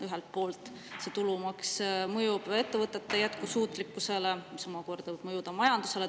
Ühelt poolt see maks mõjub ettevõtete jätkusuutlikkusele, mis omakorda võib mõjuda majandusele.